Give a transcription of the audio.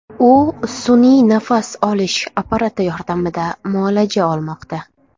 U sun’iy nafas olish apparati yordamida muolaja olmoqda.